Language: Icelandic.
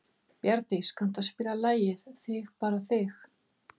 Bjarndís, kanntu að spila lagið „Þig bara þig“?